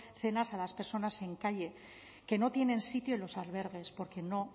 cenas a las personas en calle que no tienen sitio en los albergues porque no